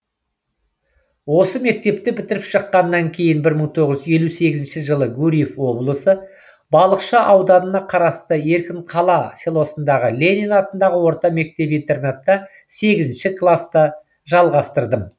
осы мектепті бітіріп шыққаннан кейін бір мың тоғыз жүз елу сегізінші жылы гурьев облысы балықшы ауданына қарасты еркінқала селосындағы ленин атындағы орта мектеп интернатта сегізінші класты жалғастырдым